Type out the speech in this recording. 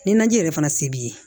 Ni naji yɛrɛ fana se b'i ye